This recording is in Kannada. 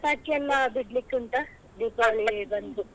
ಪಟಾಕಿ ಎಲ್ಲ ಬಿಡ್ಲಿಕ್ಕೆ ಉಂಟ ದೀಪಾವಳಿ ಬಂತು.